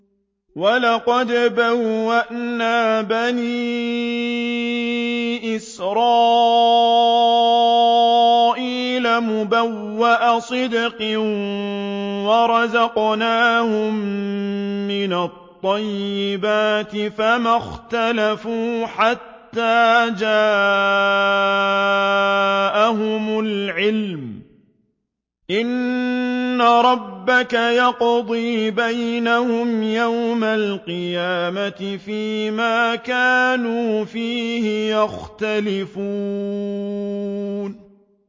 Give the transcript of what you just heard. وَلَقَدْ بَوَّأْنَا بَنِي إِسْرَائِيلَ مُبَوَّأَ صِدْقٍ وَرَزَقْنَاهُم مِّنَ الطَّيِّبَاتِ فَمَا اخْتَلَفُوا حَتَّىٰ جَاءَهُمُ الْعِلْمُ ۚ إِنَّ رَبَّكَ يَقْضِي بَيْنَهُمْ يَوْمَ الْقِيَامَةِ فِيمَا كَانُوا فِيهِ يَخْتَلِفُونَ